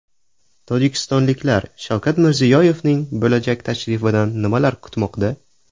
Tojikistonliklar Shavkat Mirziyoyevning bo‘lajak tashrifidan nimalar kutmoqda?.